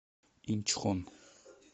инчхон